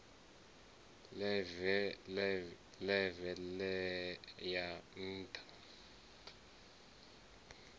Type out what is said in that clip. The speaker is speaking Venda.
ḽeve ḽe ya ya nṱha